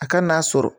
A ka n'a sɔrɔ